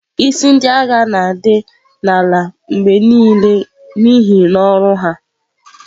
Isi Ndị agha na-adị ala mgbe niile n'ihi ọrụ ha.